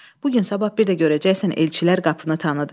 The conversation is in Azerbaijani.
Bu gün sabah bir də görəcəksən elçilər qapını tanıdı.